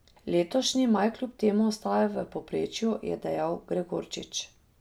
Letošnji maj kljub temu ostaja v povprečju, je dejal Gregorčič.